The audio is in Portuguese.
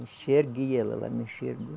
Enxerguei ela, ela me enxergou.